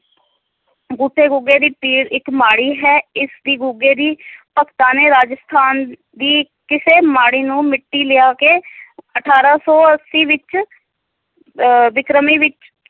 ਗੁੱਠੇ ਗੁੱਗੇ ਦੀ ਪੀਰ ਇੱਕ ਮਾੜੀ ਹੈ, ਇਸ ਦੀ ਗੁੱਗੇ ਦੀ ਭਗਤਾਂ ਨੇ, ਰਾਜਸਥਾਨ ਦੀ ਕਿਸੇ ਮਾੜੀ ਤੋਂ ਮਿੱਟੀ ਲਿਆ ਕੇ ਅਠਾਰਾਂ ਸੌ ਅੱਸੀ ਵਿੱਚ ਅਹ ਬਿਕਰਮੀ ਵਿੱਚ,